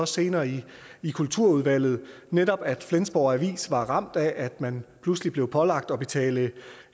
senere i kulturudvalget altså at netop flensborg avis var ramt af at man pludselig blev pålagt at betale